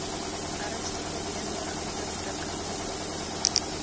ernstige beenmurgonderdrukking ontwikkel